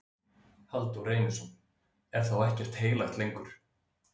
Halldór Reynisson: Er þá ekkert heilagt lengur?